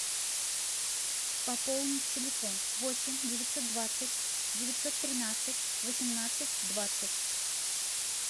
пополнить телефон восемь девятьсот двадцать девятьсот тринадцать восемнадцать двадцать